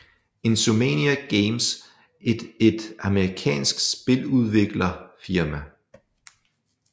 Insomniac Games et et amerikansk spiludvikler firma